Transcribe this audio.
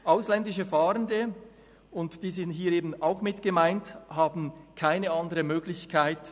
Ausländische Fahrende, und diese sind hier eben auch mit gemeint, haben im Kanton Bern keine andere Möglichkeit.